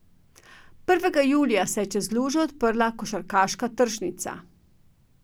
Prvega julija se je čez lužo odprla košarkarska tržnica.